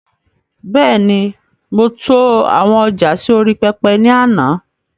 Bẹ́ẹ̀ni, mo to àwọn ọjà sì orí pẹpẹ ni àná